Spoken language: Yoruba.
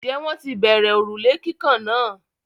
Ǹjẹ́ wọ́n ti bẹ̀rẹ òrùlé kíkàn náà?